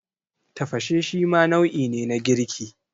Tafashe shima nau'i ne na girki.